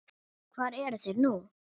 Hvar eru þeir nú?